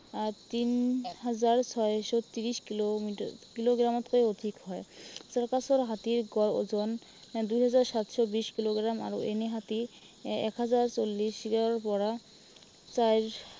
আহ তিন হাজাৰ ছয়শ ত্ৰিশ কিলোমিটাৰ, কিলোগ্ৰামতকৈ অধিক হয়। চাৰ্কাছৰ হাতীৰ গড় ওজন দুই হাজাৰ সাতশ বিশ কিলোগ্ৰাম আৰু এনেই হাতীৰ আহ এক হাজাৰ চল্লিশৰ পৰা চাইজ